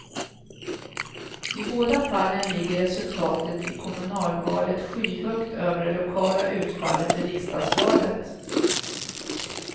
I båda fallen ligger resultatet i kommunalvalet skyhögt över det lokala utfallet i riksdagsvalet.